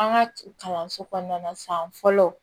An ka kalanso kɔnɔna san fɔlɔ